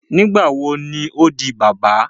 Nigbawo ni o di baba?